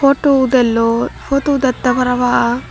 potu udelloi potu udette para pang.